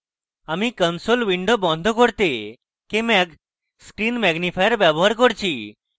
আমি console window বড় করতে kmag screen ম্যাগনিফায়ার ব্যবহার করছি